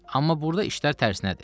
Amma burda işlər tərsinədir.